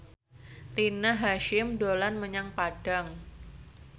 Rina Hasyim dolan menyang Padang